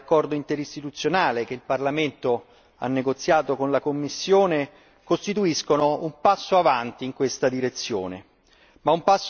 Le modifiche dell'accordo interistituzionale, che il Parlamento ha negoziato con la Commissione, costituiscono un passo in avanti in questa direzione.